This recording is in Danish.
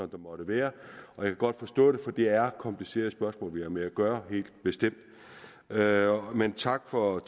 der måtte være jeg kan godt forstå det for det er helt komplicerede spørgsmål vi har med at gøre gøre men tak for